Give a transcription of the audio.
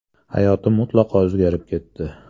Hayotim mutlaqo o‘zgarib ketdi.